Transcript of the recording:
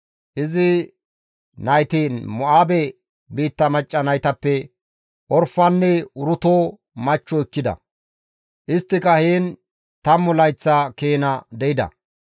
Izi nayti Mo7aabe biitta macca naytappe Orfanne Uruto machcho ekkida. Isttika heen tammu layththa keena de7ida.